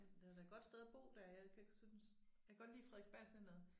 Det var da et godt sted at bo dér jeg kan ikke synes jeg kan godt lide Frederiksberg Centret